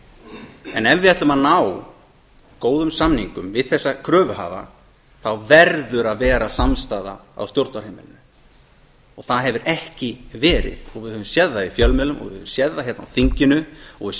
hagsmunum en ef við ætlum að ná góðum samningum við þessa kröfuhafa þá verður að vera samstaða á stjórnarheimilinu það hefur ekki verið við höfum séð það í fjölmiðlum og við höfum sé það hérna á þinginu og við